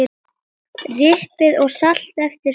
Piprið og saltið eftir smekk.